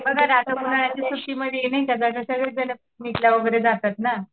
बघा ना आता उन्हाळ्याच्या सुट्टीमध्ये नाही का वगैरे जातात ना.